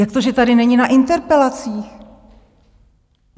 Jak to, že tady není na interpelacích?